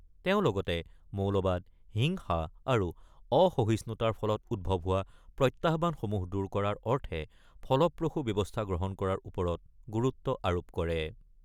তেওঁ লগতে মৌলবাদ, হিংসা আৰু অসহিষ্ণুতাৰ ফলত উদ্ভৱ হোৱা প্ৰত্যাহ্বানসমূহ দূৰ কৰাৰ অৰ্থে ফলপ্ৰসু ব্যৱস্থা গ্ৰহণ কৰাৰ ওপৰত গুৰুত্ব আৰোপ কৰে।